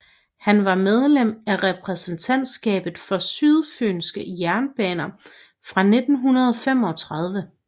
Han var medlem af repræsentantskabet for Sydfyenske Jernbaner fra 1935